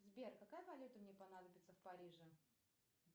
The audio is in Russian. сбер какая валюта мне понадобится в париже